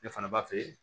Ne fana b'a f'e ye